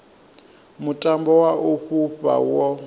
mutambo wa u fhufha wo